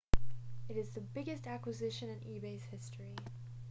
it is the biggest acquisition in ebay's history